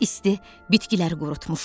İsti bitkiləri qurutmuşdu.